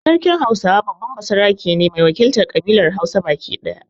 Sarkin Hausawa babban basarake ne mai wakiltar ƙabilar Hausa baki daya.